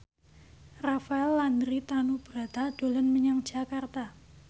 Rafael Landry Tanubrata dolan menyang Jakarta